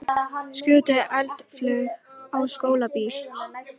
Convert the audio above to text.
Skutu eldflaug á skólabíl